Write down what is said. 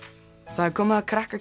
það er komið að krakka